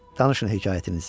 Danışın hekayətinizi.